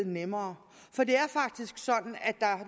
nemmere